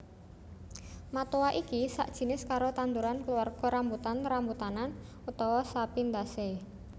Matoa iki sakjinis karo tanduran kluarga rambutan rambutanan utawa Sapindaceae